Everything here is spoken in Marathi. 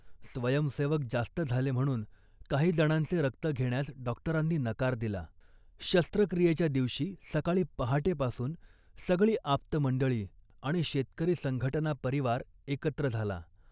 स्वयंसेवक जास्त झाले म्हणून काही जणांचे रक्त घेण्यास डॉक्टरांनी नकार दिला. शस्त्रक्रियेच्या दिवशी सकाळी पहाटेपासूनच सगळी आप्तमंडळी आणि शेतकरी संघटना परिवार एकत्र झाला